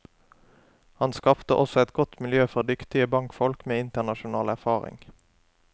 Han skapte også et godt miljø for dyktige bankfolk med internasjonal erfaring.